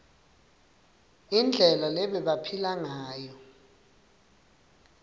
indlela lebebaphila ngayo